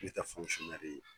N tɛ ye